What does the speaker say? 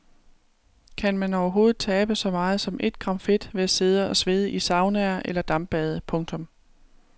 Kan man overhovedet tabe så meget som ét gram fedt ved at sidde og svede i saunaer eller dampbade. punktum